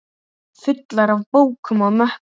Fullar af bókum og möppum.